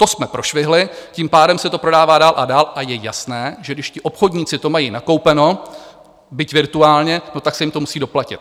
To jsme prošvihli, tím pádem se to prodá dál a dál a je jasné, že když ti obchodníci to mají nakoupeno, byť virtuálně, no tak se jim to musí doplatit.